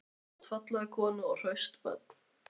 Þú átt fallega konu og hraust börn.